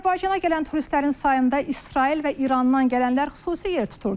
Azərbaycana gələn turistlərin sayında İsrail və İrandan gələnlər xüsusi yer tuturdu.